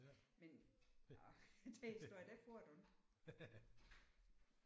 Men åh den historie den får du ikke